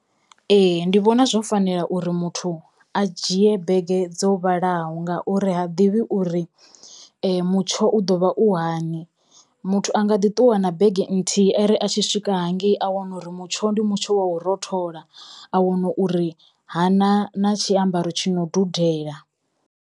Ee ndi vhona zwo fanela uri muthu a dzhie bege dzo vhalaho ngauri ha ḓivhi uri mutsho u ḓo vha u hani muthu anga ḓi ṱuwa na bege nthihi ari a tshi swika hangei a wana uri mutsho ndi mutsho wa u rothola a wana uri ha na na tshiambaro tshi no dudela.